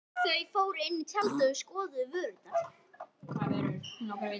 Þau fóru inn í tjaldið og skoðuðu vörurnar.